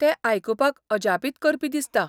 तें आयकुपाक अजापीत करपी दिसता.